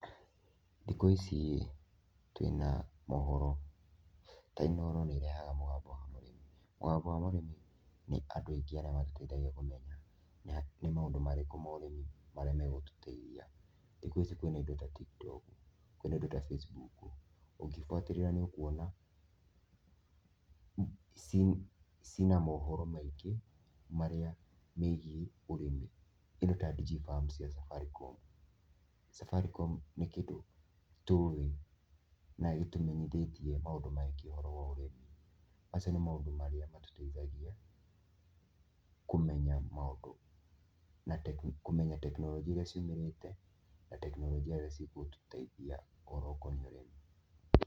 Thĩkũ ici twĩna mohoro. Ta Inoro nĩ marehaga mũgambo wa mũrĩmi. Mũgambo wa mũrĩmi nĩ andũ aingĩ arĩa matũteithagia kũmenya nĩ maũndũ marĩkũ ma ũrĩmi marĩa megũtũteithia. Thikũ ici kwĩna indo ta Tiktok kwĩna indo ta Facebook. Ũngĩbuatĩrĩra nĩũkuona ciina mohoro maingĩ megiĩ ũrĩmi. Kĩndũ ta Digi farm cia Safaricom. Safaricom nĩ kĩndũ tũũĩ na gĩtũmenyithĩtie maũndũ maingĩ ũhoro wa ũrĩmi. Macio nĩ maũndũ marĩa matũteithagia kũmenya maũndũ na kũmenya tekinoronjĩ iria ciumĩrĩte na tekinoronjĩ ira cigũtũteithia ũhoro ũkoniĩ ũrĩmi.